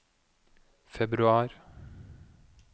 februar